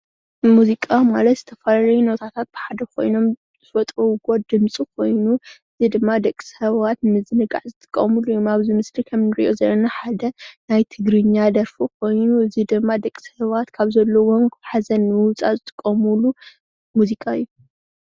ሙዚቃ ማለት ዝተፈላለዩ ኖታታት ብሓደ ካይኖም ዝፈጥርዋ ድምፂ ካይኑ እዙይ ድማ ደቂ ሰባት ንምዝንጋዕ ዝጥቀምሉ እዙይ ምስሊ ከምእንሪእዮ ዘለና ሓደ ናይ ትግርኛ ደርፊ ካይኑ እዙይ ድማ ደቂ ሰባት ካብ ዘለውዎም ሓዘን ንምውፃእ ዝጥቀምሉ ሙዚቃ እዩ።